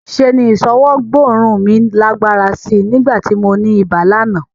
Ṣe ni ìṣọwọ́ gbóòórùn mi lágbára sí í nígbà tí mo ní ibà lánàá